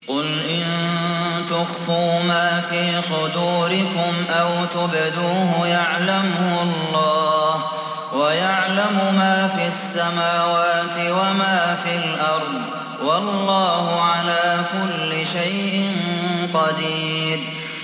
قُلْ إِن تُخْفُوا مَا فِي صُدُورِكُمْ أَوْ تُبْدُوهُ يَعْلَمْهُ اللَّهُ ۗ وَيَعْلَمُ مَا فِي السَّمَاوَاتِ وَمَا فِي الْأَرْضِ ۗ وَاللَّهُ عَلَىٰ كُلِّ شَيْءٍ قَدِيرٌ